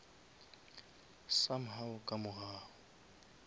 some how ka mogau